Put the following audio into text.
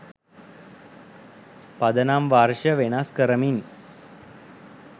පදනම් වර්ෂ වෙනස් කරමින්